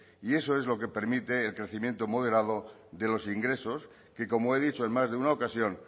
y eso es lo que permite el crecimiento moderado de los ingresos que como he dicho en más de una ocasión